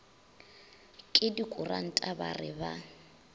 ke dikuranta ba re ba